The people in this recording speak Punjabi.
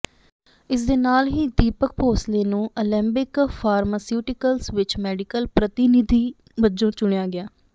ਇਸ ਦੇ ਨਾਲ ਹੀ ਦੀਪਕ ਭੋਸਲੇ ਨੂੰ ਅਲੇਂਬਿਕ ਫਾਰਮਾਸਿਊਟੀਕਲਜ਼ ਵਿੱਚ ਮੈਡੀਕਲ ਪ੍ਰਤੀਨਧੀ ਵਜੋਂ ਚੁਣਿਆ ਗਿਆ